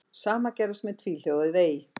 Sama gerðist með tvíhljóðið ey.